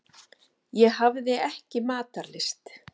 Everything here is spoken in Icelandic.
Ég hafði ekki matarlyst.